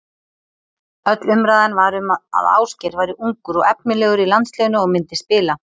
Öll umræðan var um að Ásgeir væri ungur og efnilegur í landsliðinu og myndi spila.